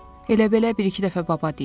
Elə-belə bir-iki dəfə baba deyib.